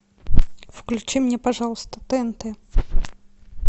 включи мне пожалуйста тнт